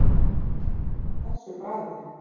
Sérstaklega ekki þessu bragði